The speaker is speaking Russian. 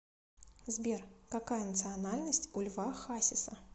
сбер какая национальность у льва хасиса